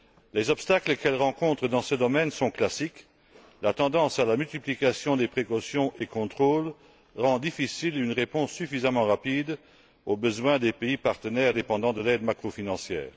Les obstacles qu'elle rencontre dans ce domaine sont classiques la tendance à la multiplication des précautions et contrôles fait qu'il est difficile de répondre suffisamment rapidement aux besoins des pays partenaires dépendant de l'aide macrofinancière.